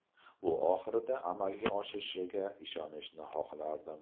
Bu oxirida amalga oshishiga ishonishni xohlardim.